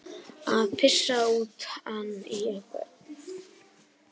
Að pissa utan í einhvern